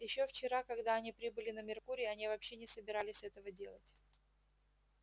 ещё вчера когда они прибыли на меркурий они вообще не собирались этого делать